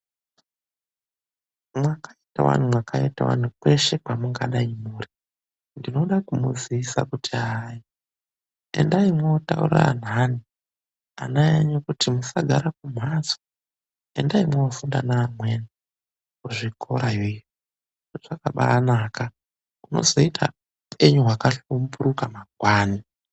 Mwakaitawani, mwakaitawani kweshe kwamungadayi muri? Ndinoda kumuzivisa kuti hayi, endai mwotaurira anthani, ana enyu kuti musagara kumhatso, endai mwofunda neamweni, kuzvikorayo .Zvakabaanaka, mwozoita upenyu hwakahlamburuka mangwani.